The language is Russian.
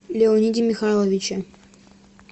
леониде михайловиче